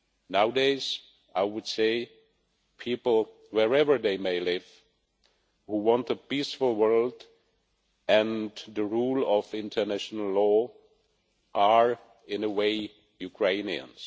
Nowadays I would say that people, wherever they may live, who want a peaceful world and the rule of international law, are, in a way, Ukrainians.